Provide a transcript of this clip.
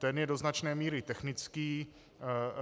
Ten je do značné míry technický.